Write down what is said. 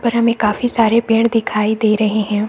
उपर हमें काफी सारे पेड़ दिखाई दे रहे हैं।